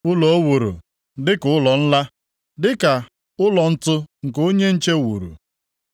Ụlọ o wuru dị ka ụlọ nla, dịkwa ka ụlọ ntu nke onye nche wuru.